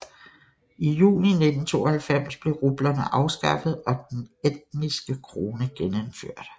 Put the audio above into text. I juni 1992 blev rublerne afskaffet og den estiske krone genindført